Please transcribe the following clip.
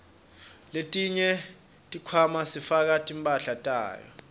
letinye tikhwama sifaka timphahlanyato